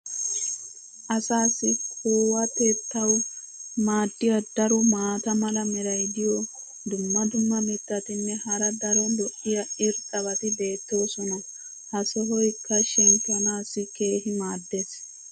Asaassi kuwatettawu maadiya daro maata mala meray diyo dumma dumma mitatinne hara daro lo'iya irxxabati beetoosona. ha sohoykka shemppanaassi keehi maadees.